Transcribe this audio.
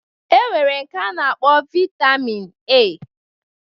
E nwere nke a na-akpọ Vaitamin A